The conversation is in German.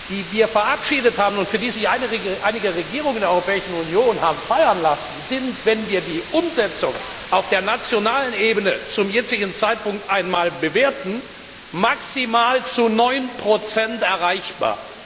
die wir verabschiedet haben und für die sich einige Regierungen in der Europäischen Union haben feiern lassen, sind, wenn wir die Umsetzung auf der nationalen Ebene zum jetzigen Zeitpunkt bewerten, maximal zu 9 erreichbar.